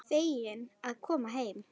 Feginn að koma heim.